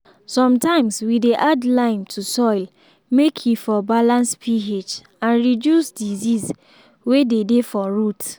sometimes we dey add lime to soil make e for balance ph and reduce disease way dey dey for root.